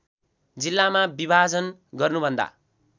जिल्लामा विभाजन गर्नुभन्दा